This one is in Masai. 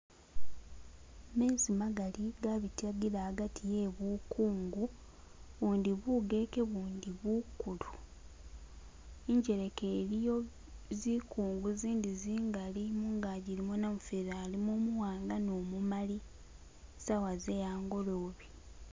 Mezi magaali gabitagila hagati he bukungu ubundi bugeke ubundi bukulu injeleka iliyo zikungu zindi zingali mungagi ilimo namufeli alimo umuwanga ne umumali saawa ze hangolobe